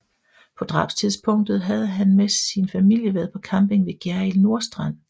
På drabstidspunktet havde han med sin familie været på camping ved Gjerrild Nordstrand